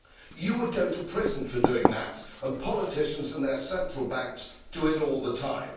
You would go to prison for that, yet politicians and their central banks do it all the time.